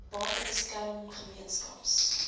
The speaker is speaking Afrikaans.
bate beskerming gemeenskaps